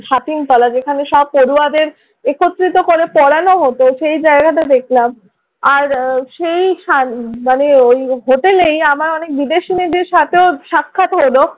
ছাতিমতলা যেখানে সব পড়ুয়াদের একত্রিত করে পড়ানো হতো সেই জায়গাটা দেখলাম। আর সেই শান মানে ওই হোটেলেই আমার অনেক বিদেশী মেয়েদের সাথেও সাক্ষাৎ হলো।